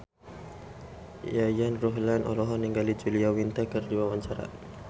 Yayan Ruhlan olohok ningali Julia Winter keur diwawancara